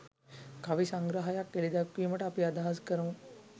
කවි සංග්‍රහයක් එළිදැක්වීමට අපි අදහස් කරමු